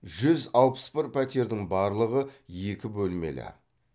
жүз алпыс бір пәтердің барлығы екі бөлмелі